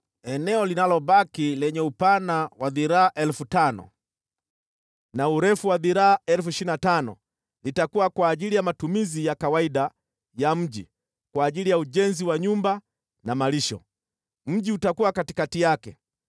“Eneo linalobaki lenye upana wa dhiraa 5,000 na urefu wa dhiraa 25,000, litakuwa kwa ajili ya matumizi ya kawaida ya mji, kwa ajili ya ujenzi wa nyumba na malisho. Mji utakuwa katikati yake